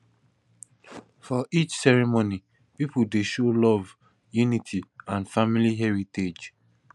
for each ceremony pipo dey show love unity and family heritage